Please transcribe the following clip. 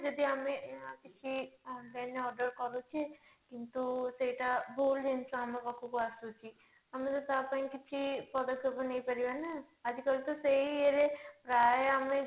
ଯଦି ଆମେ ଆ କିଛି online ରେ order କରୁଛେ କିନ୍ତୁ ସେଟା ଭୁଲ ଜିନିଷ ଆମ ପାଖକୁ ଆସୁଛି ଆମେ ବି ତା ପାଇଁ କିଛି ପଦକ୍ଷେପ ନେଇପାରିବାନି ନା ଆଜି କାଲି ତ ସେଇ ଇଏ ରେ ପ୍ରାୟ ଆମେ